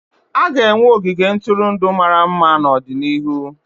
A ga-enwe ogige ntụrụndụ mara mma n'ọdịnihu.